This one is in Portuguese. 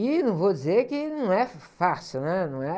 E não vou dizer que... Não é fácil, né? Não é....